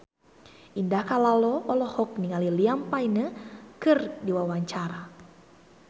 Indah Kalalo olohok ningali Liam Payne keur diwawancara